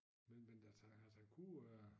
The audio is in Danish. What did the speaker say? Men men altså altså han kunne øh